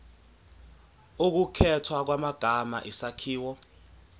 ukukhethwa kwamagama isakhiwo